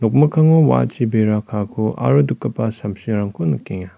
nokmikkango wa·achi bera kaako aro dikgipa samsirangko nikenga.